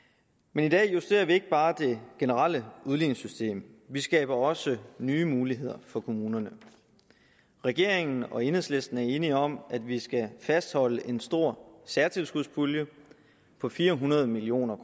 men i dag justerer vi ikke bare det generelle udligningssystem vi skaber også nye muligheder for kommunerne regeringen og enhedslisten er enige om at vi skal fastholde en stor særtilskudspulje på fire hundrede million